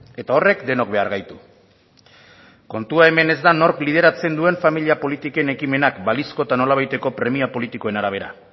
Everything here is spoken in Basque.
eta horrek denok behar gaitu kontua hemen ez da nork lideratzen duen familia politiken ekimenak balizko eta nolabaiteko premia politikoen arabera